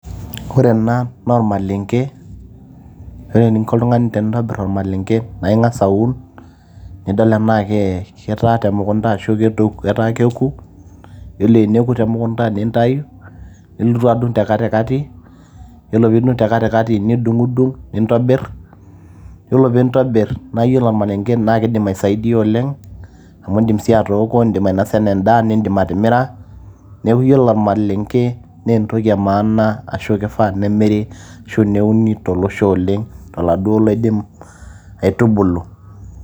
ore ena naa ormalenge ore eninko oltung'ani tenintobirr ormalenge naa ing'as aun nidol enaa kee ketaa temukunta ashu ketaa keku yiolo eneku temukunta nintayu nilotu adung te katikati yiolo piidung te katikati nidung'udung' nintobirr yiolo piintobirr naa yiolo ormalenge naa kidim aisaidiyia oleng amu indim sii atooko indim ainosa enaa endaa nindim atimira neeku yiolo ormalenge nentoki e maana ashu kifaa nemiri ashu neuni tolosho oleng toladuo loidim aitubulu.